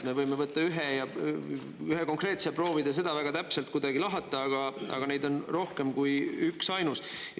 Me võime võtta ühe konkreetse ja proovida seda väga täpselt kuidagi lahata, aga neid on rohkem kui üksainus.